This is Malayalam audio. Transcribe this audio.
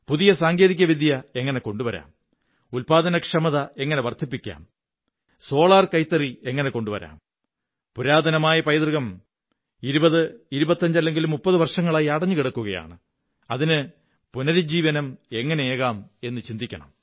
പുതിയ സാങ്കേതിക വിദ്യ എങ്ങനെ കൊണ്ടുവരാം ഉത്പാദനക്ഷമത എങ്ങനെ വര്ധി്പ്പിക്കാം സോളാർകൈത്തറി എങ്ങനെ കൊണ്ടുവരാം പുരാതനമായ പൈതൃകം 20 25 30 വര്ഷങ്ങളായി ക്ഷയിച്ചിരിക്കുകയാണ് അതിന് പുനരുജ്ജീവനം എങ്ങനെയേകാം എന്നു ചിന്തിക്കണം